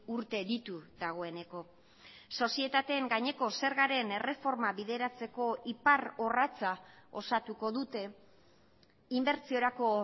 urte ditu dagoeneko sozietateen gaineko zergaren erreforma bideratzeko iparrorratza osatuko dute inbertsiorako